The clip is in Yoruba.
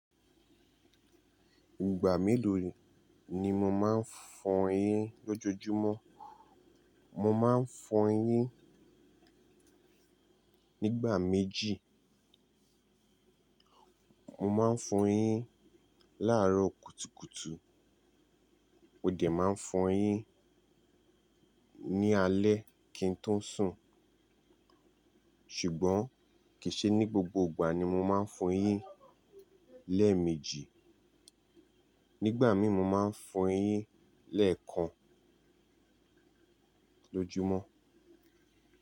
Ìgbà mélòó ni mo máa ń fọ eyín lọ́jójúmọ́? Mo máa ń fọ eyín nígbà méjì. Mo máa ń fọ eyín láàárọ̀ kùtùkùtù, mó dẹ̀ má n fọ eyín ní alé kí n tó sùn. Ṣùgbọ́n kì í ṣe ní gbogbo ìgbà ni mo máa ń fọ eyín lẹ́ẹ̀mejì, nígbà míì mo máa ń fọ eyín lẹ́ẹ̀kan lójúmọ́.